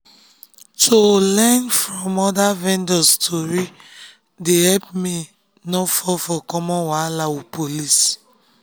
to learn from other vendors story dey help me no fall for common wahala with police.